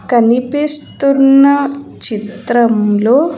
కనిపిస్తున్న చిత్రంలో.